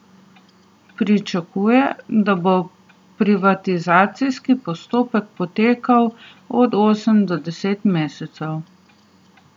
Pričakuje, da bo privatizacijski postopek potekal od osem do deset mesecev.